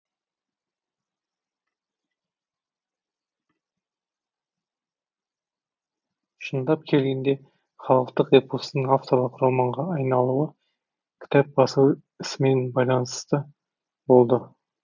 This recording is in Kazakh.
шындап келгенде халықтық эпостың авторлық романға айналуы кітап басу ісімен байланысты болды